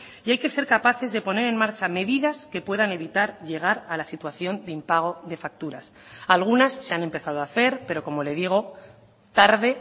y hay que ser capaces de poner en marcha medidas que puedan evitar llegar a la situación de impago de facturas algunas se han empezado a hacer pero como le digo tarde